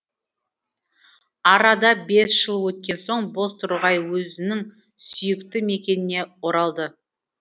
арада бес жыл өткен соң бозторғай өзінің сүйікті мекеніне оралды